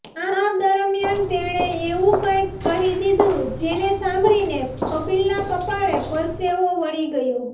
આ દરમિયાન તેણે એવું કંઈક કહી દીધું જેને સાંભળીને કપિલના કપાળે પરસેવો વળી ગયો